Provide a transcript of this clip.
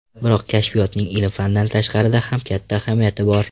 Biroq kashfiyotning ilm-fandan tashqarida ham katta ahamiyati bor.